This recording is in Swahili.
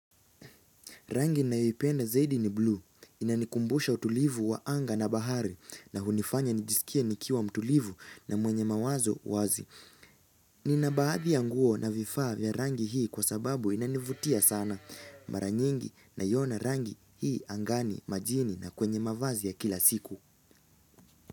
Rangi nina yoipenda zaidi ni blue inanikumbusha utulivu wa anga na bahari na hunifanya nijisikia nikiwa mtulivu na mwenye mawazo wazi Nina baadhi ya nguo na vifaa vya rangi hii kwa sababu inanivutia sana mara nyingi naiona rangi hii angani majini na kwenye mavazi ya kila siku.